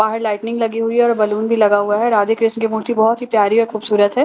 बाहर लाइटिंग लगी हुई है और बैलून भी लगा हुआ है राधे कृष्ण की मूर्ति बहोत ही प्यारी और खूबसूरत है।